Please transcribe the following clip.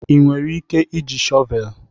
Ị nwere ike iji shọvel?